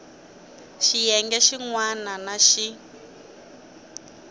xiyenge xin wana na xin